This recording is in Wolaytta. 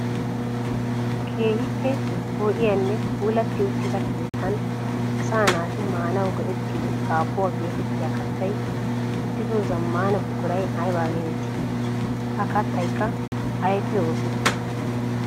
Keehippe poo'iyanne puulati uttida keettan asaa naati maanawu go'ettiyo dabbuwaa geetettiya kattay uttido zamaana buquray ayba geteettii? Ha kattaykka aybbippe oosettii?